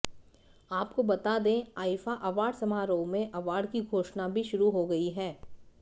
आपको बता दें आईफा अवॉर्ड समारोह में अवॉर्ड की घोषणा भी शुरू हो गई है